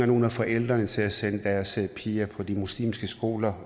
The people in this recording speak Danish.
nogle af forældrene til at sende deres piger på de muslimske skoler